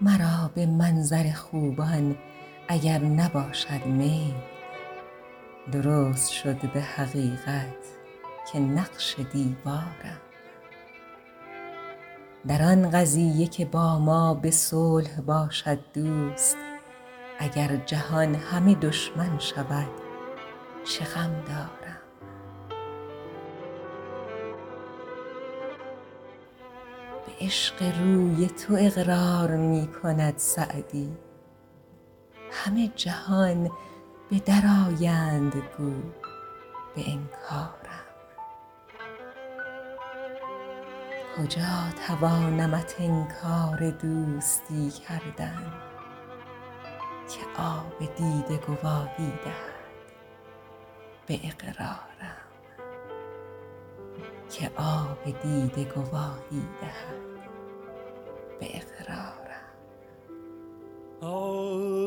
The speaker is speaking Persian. مرا به منظر خوبان اگر نباشد میل درست شد به حقیقت که نقش دیوارم در آن قضیه که با ما به صلح باشد دوست اگر جهان همه دشمن شود چه غم دارم به عشق روی تو اقرار می کند سعدی همه جهان به در آیند گو به انکارم کجا توانمت انکار دوستی کردن که آب دیده گواهی دهد به اقرارم